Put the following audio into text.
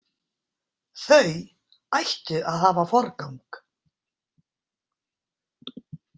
Þau ættu að hafa forgang.